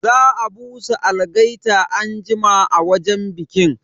Za a busa algaita anjima a wajen bikin.